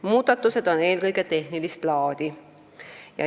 Muudatused on eelkõige tehnilist laadi.